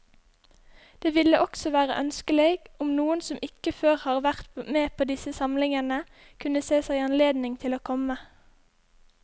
Det ville også være ønskelig om noen som ikke før har vært med på disse samlingene, kunne se seg anledning til å komme.